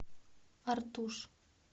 артуш